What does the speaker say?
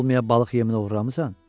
Olmaya balıq yeminə oğurlamısan?